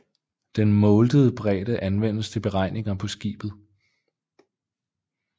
Den mouldede bredde anvendes til beregninger på skibet